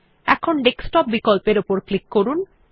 এখন ডেস্কটপ বিকল্পের উপর ক্লিক করুন